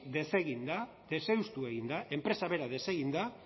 desegin da deseuztu egin da enpresa bera desegin da